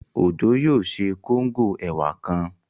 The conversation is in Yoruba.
Òjó yóò ṣe kóngò ẹ̀wà kan